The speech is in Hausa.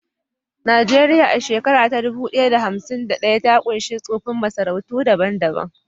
Nijeriya, a shekara ta dubu ɗaya da hamsin da ɗaya, ta ƙunshi tsoffin masarautu daban-daban